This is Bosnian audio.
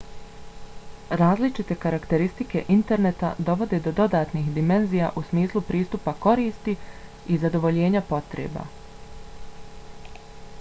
različite karakteristike interneta dovode do dodatnih dimenzija u smislu pristupa koristi i zadovoljenja potreba